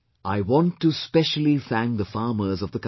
I want to specially thank the farmers of the country